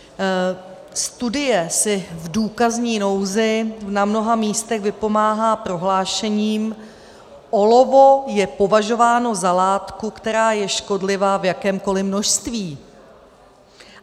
Studie si v důkazní nouzi na mnoha místech vypomáhá prohlášením - olovo je považováno za látku, která je škodlivá v jakémkoliv množství.